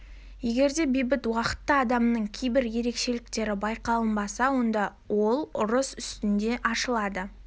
егер де бейбіт уақытта адамның кейбір ерекшеліктері байқалынбаса онда ол ұрыс үстінде ашылады